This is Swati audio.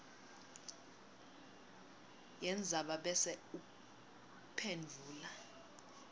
yendzaba bese uphendvula